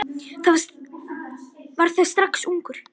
Var það strax ungur.